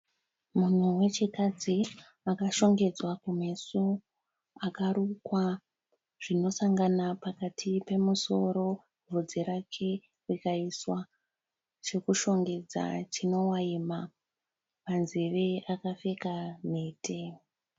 Munhu wechikadzi akashongedzwa kumeso akarukwa zvinosangana pakati pemusoro. Vhudzi rake rikaiswa chekushongedza chinovaima. Panzeve akapfeka mhete.